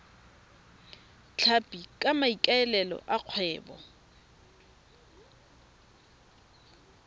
tlhapi ka maikaelelo a kgwebo